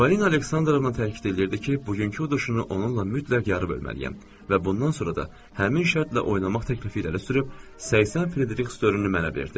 Parina Aleksandrovna təkid eləyirdi ki, bugünkü uduşunu onunla mütləq yarı bölməliyəm və bundan sonra da həmin şərtlə oynamaq təklifini irəli sürüb 80 frieriks dörmünü mənə verdi.